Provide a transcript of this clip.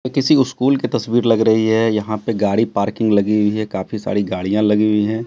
ये किसी स्कूल की तस्वीर लग रही है यहां पे गाड़ी पार्किंग लगी हुई है काफी सारी गाड़ियां लगी हुई हैं।